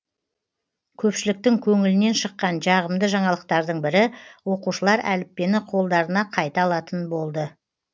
көпшіліктің көңілінен шыққан жағымды жаңалықтардың бірі оқушылар әліппені қолдарына қайта алатын болды